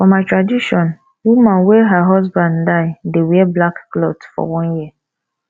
for my tradition woman wey her husband die dey wear black clot for one year